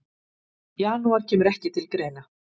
Janúar kemur ekki til greina.